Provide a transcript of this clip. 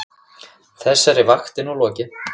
Þessari vakt er nú lokið.